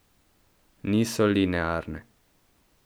Niso linearne.